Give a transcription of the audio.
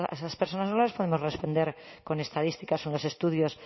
esas personas no les podemos responder con estadísticas o unos estudios